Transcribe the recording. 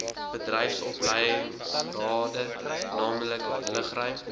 bedryfsopleidingsrade naamlik lugruim